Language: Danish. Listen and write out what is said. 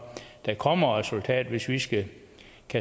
der kommer et resultat og hvis vi skal